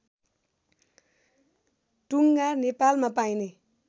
टुङ्गा नेपालमा पाइने